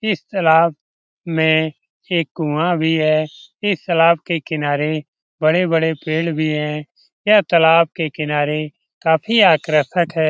इस तालाब में एक कुआं भी है इस तालाब के किनारे बड़े-बड़े पेड़ भी है यह तालाब के किनारे काफी आकर्षक है।